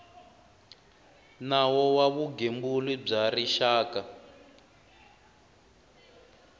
nawu wa vugembuli bya rixaka